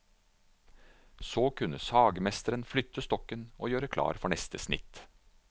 Så kunne sagmesteren flytte stokken og gjøre klar for neste snitt.